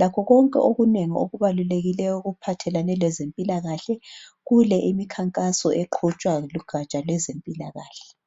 lakho konke okunengi okubalulekileyo okuphathelane lezempilakahle kule imikhankaso eqhutshwa lugaja lwezempilakahle.